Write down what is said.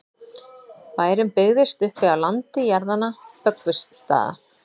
bærinn byggðist upp á landi jarðanna böggvisstaða